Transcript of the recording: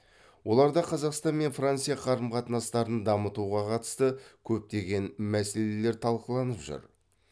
оларда қазақстан мен франция қарым қатынастарын дамытуға қатысты көптеген мәселелер талқыланып жүр